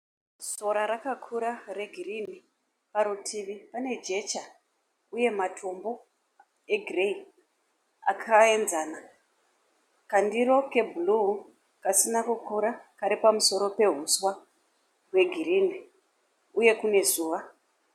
Sora rakakura regirini parutivi pane jecha uye matombo egireyi akaenzana, kandiro kebhuruu kasina kukura kari pamusoro pehuswa hwegirini uye kune zuva.